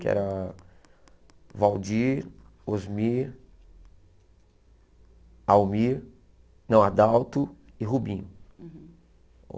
Que era... Waldir, Osmir... Almir... Não, Adalto e Rubinho.